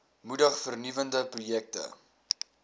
moedig vernuwende projekte